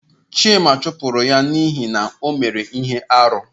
Chima chụpụrụ ya n'ihi na o mere ihe arụ.